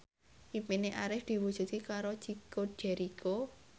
impine Arif diwujudke karo Chico Jericho